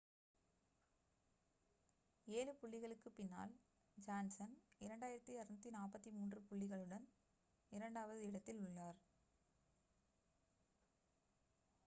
7 புள்ளிகளுக்கு பின்னால் ஜான்சன் 2,243 புள்ளிகளுடன் இரண்டாவது இடத்தில் உள்ளார்